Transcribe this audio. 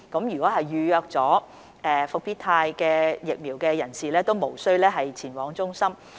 已預約接種復必泰疫苗的人士無需前往接種中心接種。